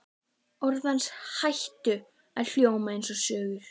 Orð hans hætta að hljóma einsog söngur.